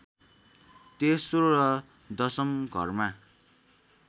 तेस्रो र दशम घरमा